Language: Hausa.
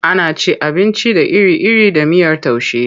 Ana cin abinci da iri-iri da miyar taushe.